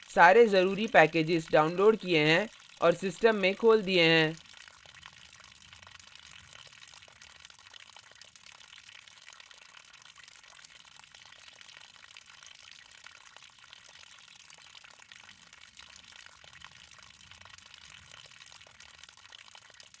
सारे जरूरी packages downloaded किए हैं और system में खोल दिए हैं